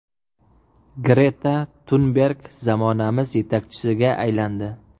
Greta Tunberg zamonamiz yetakchisiga aylandi.